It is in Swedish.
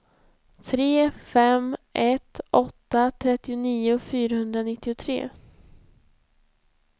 tre fem ett åtta trettionio fyrahundranittiotre